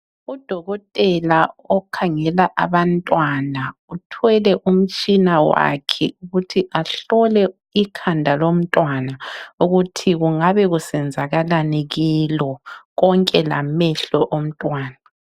Udokotela okhangela abantwana uthwele umtshina wakhe ukuthi ahlole ikhanda lomntwana ukuthi kungabe kusenzakalani kilo konke lamehlo omntwana.